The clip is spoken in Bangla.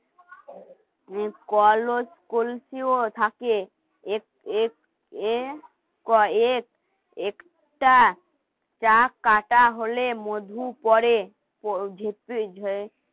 যে কল কলসিও থাকে এক্স এক্স এক্সট্রা কাঁটা হলে মধু পড়ে করে উঠেই